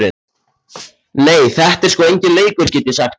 Nei, þetta er sko enginn leikur, get ég sagt þér.